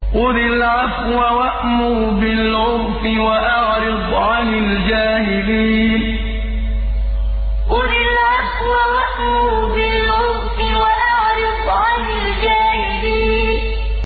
خُذِ الْعَفْوَ وَأْمُرْ بِالْعُرْفِ وَأَعْرِضْ عَنِ الْجَاهِلِينَ خُذِ الْعَفْوَ وَأْمُرْ بِالْعُرْفِ وَأَعْرِضْ عَنِ الْجَاهِلِينَ